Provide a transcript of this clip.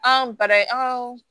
An bara ye an ka